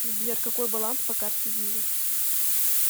сбер какой баланс по карте виза